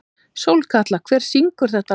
Sólkatla, hver syngur þetta lag?